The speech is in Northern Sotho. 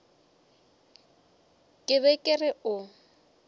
ke be ke re o